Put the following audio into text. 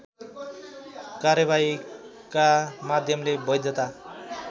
कार्यबाहीका माध्यमले वैधता